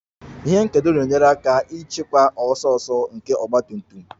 Ihe nkedo na-enyere aka ịchịkwa ọsọ ọsọ nke ọgba tum tum